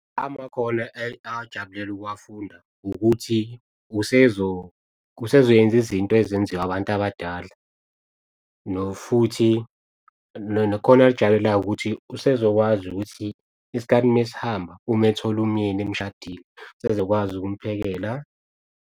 Amakhono ajabulele ukuwafunda ukuthi usezoyenza izinto ezenziwa abantu abadala. Futhi nakhona akujabulelayo ukuthi usezokwazi ukuthi isikhathi mesihamba uma ethola umyeni eshadile, usezokwazi ukumphekela.